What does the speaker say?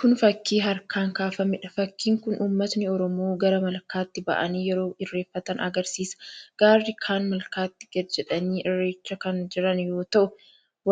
Kun fakkii harkaan kaafameedha. Fakkiin kun uummatni Oromoo gara malkaatti ba'anii yeroo irreeffatan agarsiisa. Garri kaan malkaatti gadi jedhanii irreeffachaa kan jiran yoo ta'u,